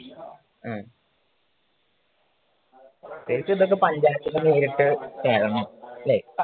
ഉം ശരിക്കുമിതൊക്കെ പഞ്ചായത്തിൻറ്റെ ഇതിലൊക്കെ ചെയ്യണം അല്ലെ